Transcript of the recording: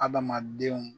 Adamadenw